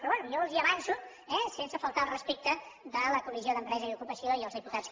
però bé jo els ho avanço eh sense faltar al respecte de la comissió d’empresa i ocupació i dels diputats